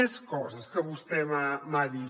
més coses que vostè m’ha dit